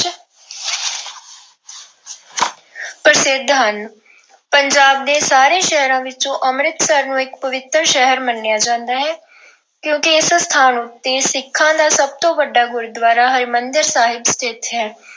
ਪ੍ਰਸਿੱਧ ਹਨ। ਪੰਜਾਬ ਦੇ ਸਾਰੇ ਸ਼ਹਿਰਾਂ ਵਿੱਚੋਂ ਅੰਮ੍ਰਿਤਸਰ ਨੂੰ ਇੱਕ ਪਵਿੱਤਰ ਸ਼ਹਿਰ ਮੰਨਿਆ ਜਾਂਦਾ ਹੈ ਕਿਉਂ ਕਿ ਇਸ ਸਥਾਨ ਉੱਤੇ ਸਿੱਖਾਂ ਦਾ ਸਭ ਤੋਂ ਵੱਡਾ ਗੁਰਦੂਆਰਾ ਹਰਿਮੰਦਰ ਸਾਹਿਬ ਸਥਿਤ ਹੈ।